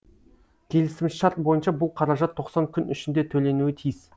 келісімшарт бойынша бұл қаражат тоқсан күн ішінде төленуі тиіс